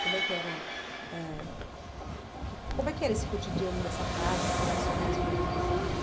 Como é que era ãh como é que esse cotidiano dessa casa, essas duas famílias morando